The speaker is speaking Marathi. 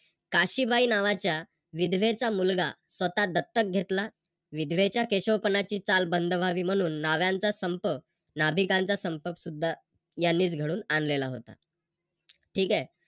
काशीबाई नावाच्या विधवेचा मुलगा स्वतः दत्तक घेतला. विधवेच्या केशवपणाची चाल बंद व्हावी म्हणून नाव्ह्यांचा संप नाभिकांचा संप सुद्धा यांनींच घडवून आणलेला होता. ठीक आहे